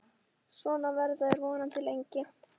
Svona verða þær vonandi lengi.